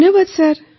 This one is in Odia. ଧନ୍ୟବାଦ ସାର୍